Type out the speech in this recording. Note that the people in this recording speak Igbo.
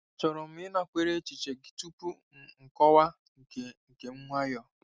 chọrọ m ịnakwere echiche gị tupu m akọwa nke nke m nwayọọ.